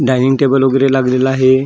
Dining table उग्रे लागलेले आहे .